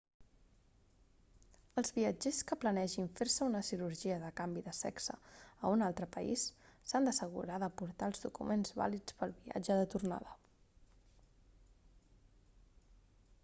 els viatgers que planegin fer-se una cirurgia de canvi de sexe a un altre país s'han d'assegurar de portar els documents vàlids pel viatge de tornada